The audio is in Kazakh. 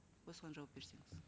осыған жауап берсеңіз